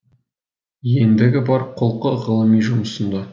ендігі бар құлқы ғылыми жұмысында